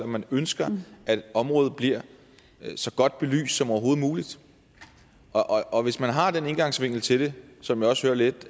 man ønsker at området bliver så godt belyst som overhovedet muligt hvis man har den indgangsvinkel til det som jeg også lidt